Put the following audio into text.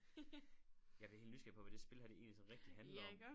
Jeg bliver helt nysgerrig på hvad det spil her det egentlig sådan rigtig handler om